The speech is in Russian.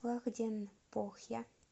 лахденпохья